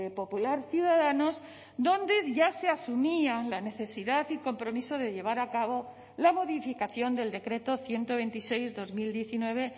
popular ciudadanos donde ya se asumían la necesidad y compromiso de llevar a cabo la modificación del decreto ciento veintiséis barra dos mil diecinueve